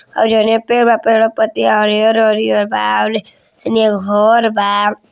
और जौन ई पेड़ बा पेड़वा पे पतिया हरियर हरियर बा औरे हेनिया एक घर बा।